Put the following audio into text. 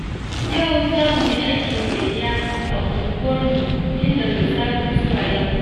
Yau za mu yi aikin gayya a unguwarmu tun daga safe zuwa yamma.